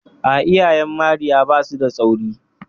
A'a, iyayen Marya ba su da tsauri.